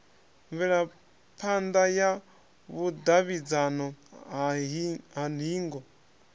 mvelaphana ya vhudavhidzano ha hingo